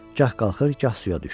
Gah qalxır, gah suya düşür.